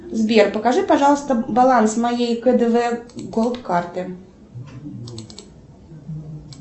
сбер покажи пожалуйста баланс моей кдв голд карты